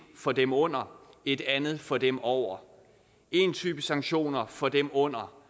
for dem under og et andet system for dem over én type sanktioner for dem under